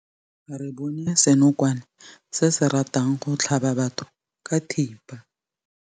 Re bone senokwane se se ratang go tlhaba batho ka thipa.